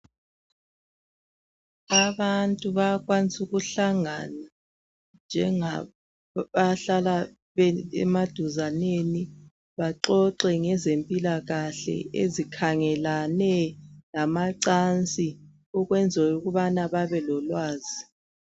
Abantu bayakwanisa ukuhlangana njengaba hlala emaduzaneni baxoxe ngezempilakahle ezikhangelane lamancansi ukwenzela ukubana babelolwazi.